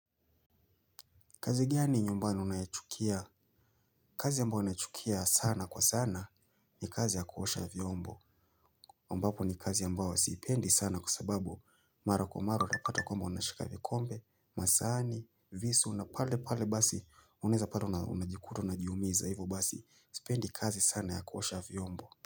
Kazi gani nyumbani unayochukia, kazi ambao nachukia sana kwa sana ni kazi ya kuosha vyombo. Ambapo ni kazi ambao sipendi sana kwa sababu mara kwa mara utapata kwamba unashika vikombe, masahani, visu, na pale pale basi uneza pale unajikuta, unajiumiza hivo basi sipendi kazi sana ya kuosha vyombo.